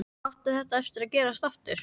Á þetta eftir að gerast aftur?